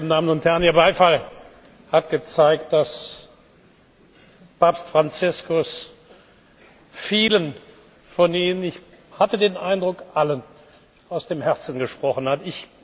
Damen und Herren! Ihr Beifall hat gezeigt, dass Papst Franziskus vielen von Ihnen ich hatte den Eindruck, allen aus dem Herzen gesprochen hat.